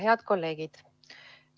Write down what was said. Head kolleegid!